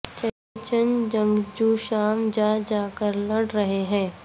چیچن جنگجو شام جا جا کر لڑ رہے ہیں